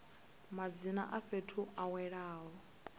madzina a fhethu a welaho